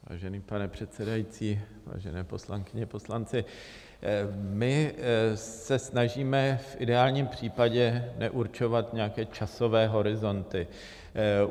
Vážený pane předsedající, vážené poslankyně, poslanci, my se snažíme v ideálním případě neurčovat nějaké časové horizonty.